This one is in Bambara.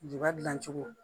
Juba dilancogo